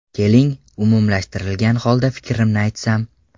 Keling, umumlashtirgan holda fikrimni aytsam.